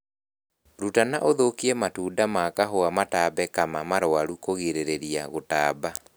Ruta na ũthũkie matunda ma kahũa matambe kama marwaru kũgirĩria gũtamba